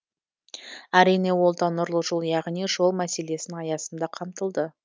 әрине ол да нұрлы жол яғни жол мәселесінің аясында қамтылды